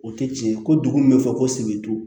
O tɛ tiɲɛ ko min bɛ fɔ ko sebindu